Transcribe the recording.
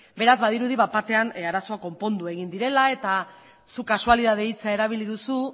beraz badirudi bat batean arazoak konpondu egin direla eta zuk kasualitate hitza erabili duzu